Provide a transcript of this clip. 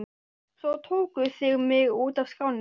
Svo tókuð þig mig út af skrá!!!